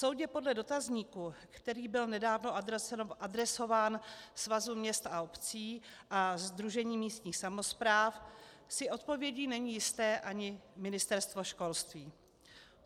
Soudě podle dotazníku, který byl nedávno adresován Svazu měst a obcí a Sdružení místních samospráv, si odpovědí není jisté ani Ministerstvo školství.